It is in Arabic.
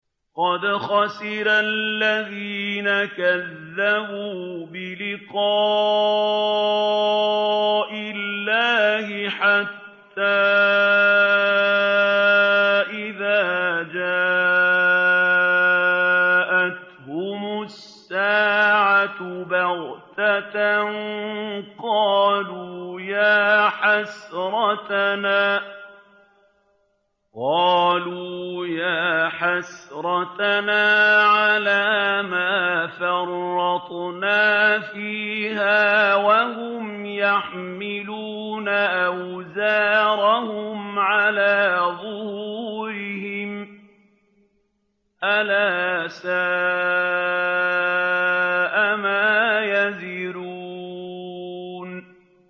قَدْ خَسِرَ الَّذِينَ كَذَّبُوا بِلِقَاءِ اللَّهِ ۖ حَتَّىٰ إِذَا جَاءَتْهُمُ السَّاعَةُ بَغْتَةً قَالُوا يَا حَسْرَتَنَا عَلَىٰ مَا فَرَّطْنَا فِيهَا وَهُمْ يَحْمِلُونَ أَوْزَارَهُمْ عَلَىٰ ظُهُورِهِمْ ۚ أَلَا سَاءَ مَا يَزِرُونَ